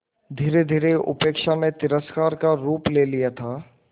धीरेधीरे उपेक्षा ने तिरस्कार का रूप ले लिया था